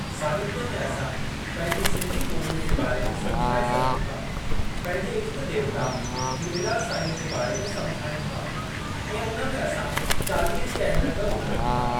साहित्य में असां पंहिंजी सिंधी ॿोलीअ जे बारे में समुझाए सघूं था। पंहिंजे इष्ट देवता झूलेलाल साईंअ जे बारे में समुझायूं था ऐं उन में असां चालीहे जी अहमियत बि ॿुधायूं था।